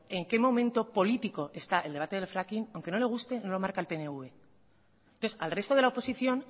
en qué momento político está el debate del fracking aunque no le guste no lo marca el pnv al resto de la oposición